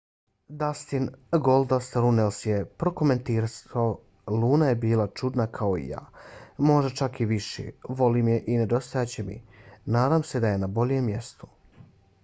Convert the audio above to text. dustin goldust runnels je prokomentarisao luna je bila čudna kao i ja...možda čak i više ...volim je i nedostajat će mi...nadam se da je na boljem mjestu.